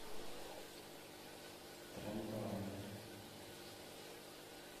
трендора